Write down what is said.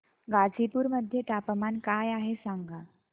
गाझीपुर मध्ये तापमान काय आहे सांगा